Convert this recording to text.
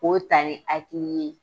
K'o ta ni hakili ye.